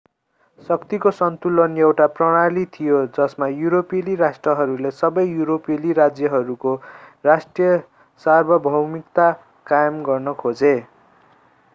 शक्तिको सन्तुलन एउटा प्रणाली थियो जसमा युरोपेली राष्ट्रहरूले सबै युरोपेली राज्यहरूको राष्ट्रिय सार्वभौमिकता कायम गर्न खोजे